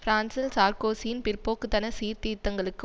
பிரான்சில் சார்க்கோசியின் பிற்போக்கு தன சீர்திருத்தங்களுக்கு